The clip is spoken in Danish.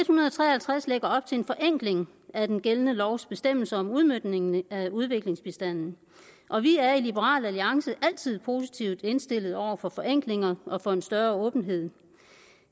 hundrede og tre og halvtreds lægger op til en forenkling af den gældende lovs bestemmelser om udmøntningen af udviklingsbistanden og vi er i liberal alliance altid positivt indstillet over for forenklinger og over for en større åbenhed